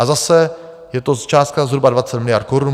A zase, je to částka zhruba 20 miliard korun.